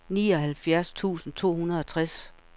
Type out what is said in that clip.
nioghalvfjerds tusind to hundrede og tres